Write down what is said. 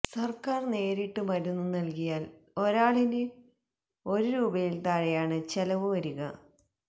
സർക്കാർ നേരിട്ട് മരുന്ന് നൽകിയാൽ ഒരാളിന് ഒരു രൂപയിൽ താഴെയാണ് ചെലവ് വരിക